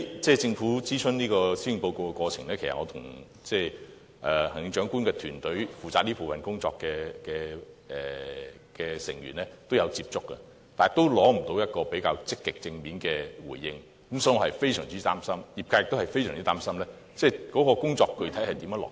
在政府諮詢施政報告的過程中，其實我也曾與行政長官負責這部分的團隊成員接觸過，但仍無法取得較積極正面的回應，所以我是非常擔心，業界亦非常擔心這項工作如何能具體落實。